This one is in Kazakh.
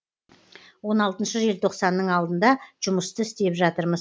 он алтыншы желтоқсанның алдында жұмысты істеп жатырмыз